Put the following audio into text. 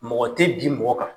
Mɔgɔ tɛ bin mɔgɔ kan.